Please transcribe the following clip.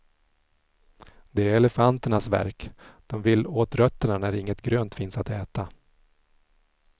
Det är elefanternas verk, de vill åt rötterna när inget grönt finns att äta.